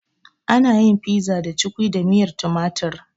Ana yin pizza da cukwi da miyar tumatir